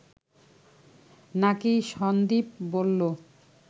নাকি সন্দীপ বলল